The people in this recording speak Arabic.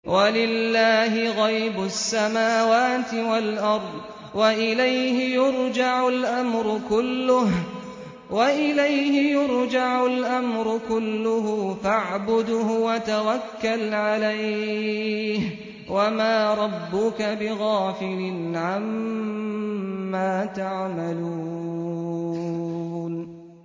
وَلِلَّهِ غَيْبُ السَّمَاوَاتِ وَالْأَرْضِ وَإِلَيْهِ يُرْجَعُ الْأَمْرُ كُلُّهُ فَاعْبُدْهُ وَتَوَكَّلْ عَلَيْهِ ۚ وَمَا رَبُّكَ بِغَافِلٍ عَمَّا تَعْمَلُونَ